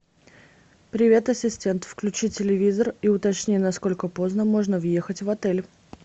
привет ассистент включи телевизор и уточни насколько поздно можно въехать в отель